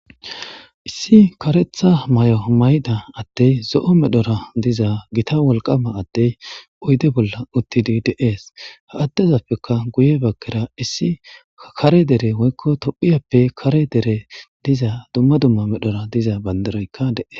issi karetha may7omayida attey zo7o medhora diza gita wolqama attey oyde bolla uttidi deees ha attezappeka guye bakkera issi kare dere woykko to7iyappe kare dere diza dumma dumma medhora diza bandaroykka dees